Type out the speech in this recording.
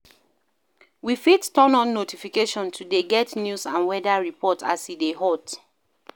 We fit turn on notification to dey get news and weather report as e dey hot